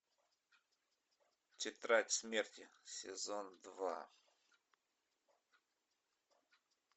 тетрадь смерти сезон два